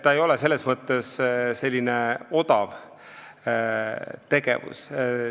See ei ole odav tegevus.